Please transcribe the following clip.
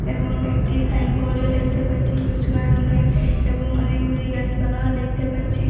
এবং একটি সাইনবোর্ডও দেখতে পাচ্ছি কচুয়া রংয়ের এবং অনেকগুলি গাছপালাও দেখতে পাচ্ছি।